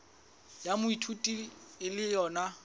ya moithuti e le yona